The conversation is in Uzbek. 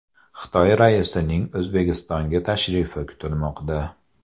Xitoy raisining O‘zbekistonga tashrifi kutilmoqda.